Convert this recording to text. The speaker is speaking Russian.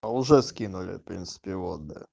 а уже скинули в принципе вот бля